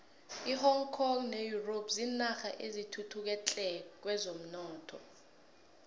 ihong kong ne europe zinarha ezithuthuke tle kwezomnotho